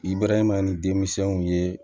I bɛraman ni denmisɛnw ye